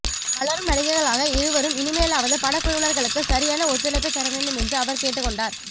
வளரும் நடிகைகளாக இருவரும் இனிமேலாவது படக்குழுவினர்களுக்கு சரியான ஒத்துழைப்பை தரவேண்டும் என்று அவர் கேட்டுக்கொண்டார்